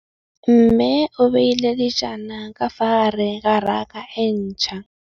Mmê o beile dijana ka fa gare ga raka e ntšha.